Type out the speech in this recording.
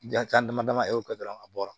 Jan dama dama e y'o kɛ dɔrɔn a bɔra